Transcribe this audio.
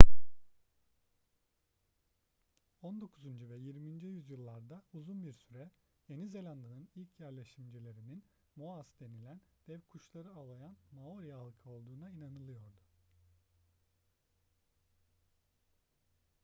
on dokuzuncu ve yirminci yüzyıllarda uzun bir süre yeni zelanda'nın ilk yerleşimcilerinin moas denilen dev kuşları avlayan maori halkı olduğuna inanılıyordu